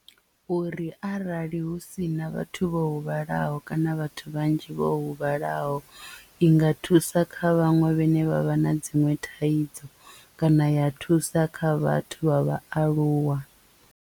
Uri arali hu si na vhathu vho huvhalaho kana vhathu vhanzhi vho huvhalaho i nga thusa kha vhaṅwe vhane vha vha na dziṅwe thaidzo kana ya thusa kha vhathu vha vhaaluwa.